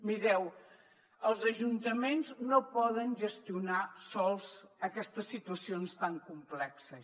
mireu els ajuntaments no poden gestionar sols aquestes situacions tan complexes